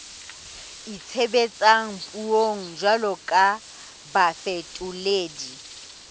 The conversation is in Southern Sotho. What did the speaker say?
itshebetsang puong jwalo ka bafetoledi